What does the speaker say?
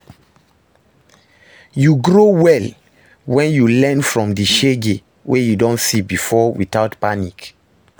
Yu go grow well wen yu learn from di shege wey yu don see bifor witout panic